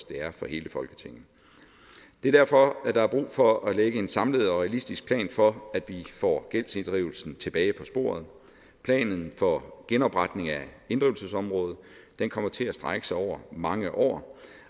det er for hele folketinget det er derfor der er brug for at lægge en samlet og realistisk plan for at vi får gældsinddrivelsen tilbage på sporet planen for genopretningen af inddrivelsesområdet kommer til at strække sig over mange år